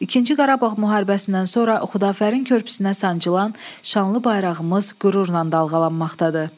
İkinci Qarabağ müharibəsindən sonra Xudafərin körpüsünə sancılan şanlı bayrağımız qürurla dalğalanmaqdadır.